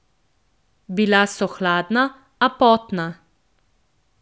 Bila so hladna, a potna.